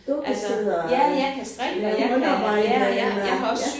Du kan sidde og lave håndarbejde eller ja